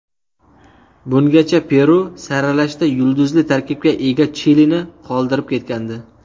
Bungacha Peru saralashda yulduzli tarkibga ega Chilini qoldirib ketgandi.